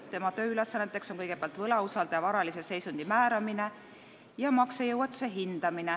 Tema tööülesanneteks on kõigepealt võlausaldaja varalise seisundi määramine ja maksejõuetuse hindamine.